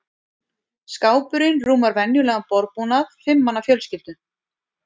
Skápurinn rúmar venjulegan borðbúnað fimm manna fjölskyldu.